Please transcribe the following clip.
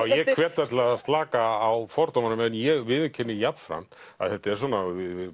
ég hvet alla að slaka á fordómunum en ég viðurkenni jafnframt að þetta er svona